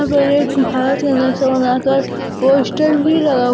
भारत का नक्शा बनाकर पोस्टर भी लगा--